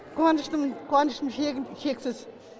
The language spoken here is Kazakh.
қуаныштымын қуанышым шегі шексіз